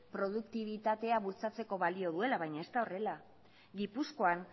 produktibitatea bultzatzeko balio duela baina ez da horrela gipuzkoan